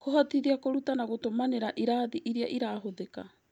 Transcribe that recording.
Kũhotithia kũruta na gũtũmanĩra irathi iria irahũthĩka